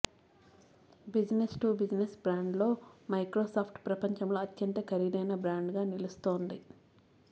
business to business brand లో Microsoft ప్రపంచంలో అత్యంత ఖరీదైన బ్రాండ్ గా నిలుస్తోంది